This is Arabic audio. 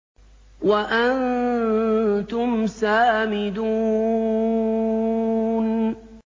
وَأَنتُمْ سَامِدُونَ